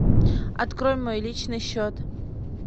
открой мой личный счет